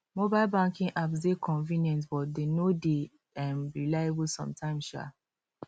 mobile banking apps dey convenient but dem no dey um reliable sometimes um